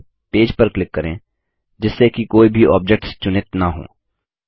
पहले पेज पर क्लिक करें जिससे कि कोई भी ऑब्जेक्ट्स चुनित न हों